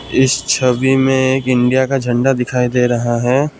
इस छवि में एक इंडिया का झंडा दिखाई दे रहा है।